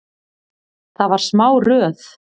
Það var smá röð.